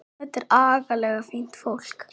Þetta er agalega fínt fólk.